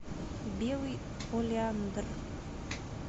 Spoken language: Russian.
белый олеандр